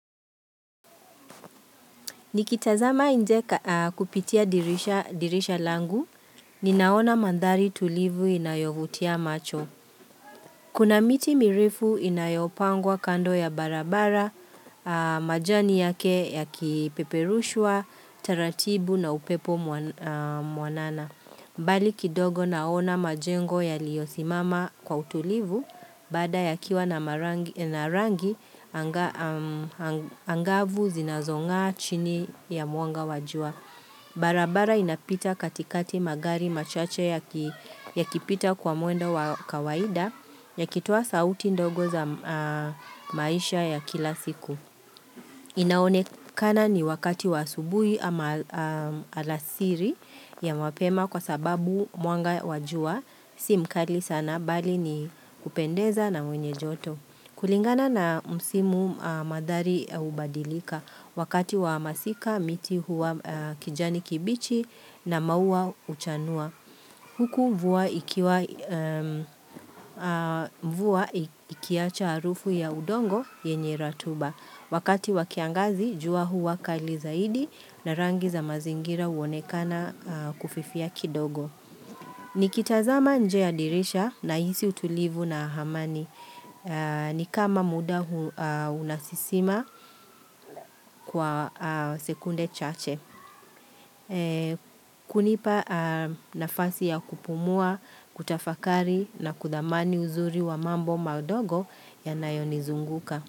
Nikitazama nje kupitia dirisha langu, ninaona mandhari tulivu inayovutia macho. Kuna miti mirefu inayopangwa kando ya barabara, majani yake yakipeperushua, taratibu na upepo mwanana. Mbali kidogo naona majengo yaliyosimama kwa utulivu baada yakiwa na rangi angavu zinazong'aa chini ya mwanga wa jua. Barabara inapita katikati magari machache ya kipita kwa mwendo kawaida yakitoa sauti ndogo za maisha ya kila siku. Inaonekana ni wakati wa asubuhi ama alasiri ya mapema kwa sababu mwanga wa jua si mkali sana bali ni kupendeza na mwenye joto. Kulingana na msimu mandhari hubadilika wakati wa masika miti huwa kijani kibichi na maua uchanua. Huku mvua ikiacha harufu ya udongo yenye ratuba. Wakati wa kiangazi, jua huwa kali zaidi na rangi za mazingira huonekana kufifia kidogo. Nikitazama nje ya dirisha nahisi utulivu na amani nikama muda unasisima kwa sekunde chache. Kunipa nafasi ya kupumua, kutafakari na kudhamani uzuri wa mambo madogo yanayonizunguka.